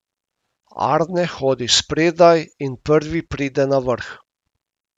Arne hodi spredaj in prvi pride na vrh.